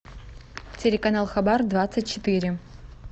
телеканал хабар двадцать четыре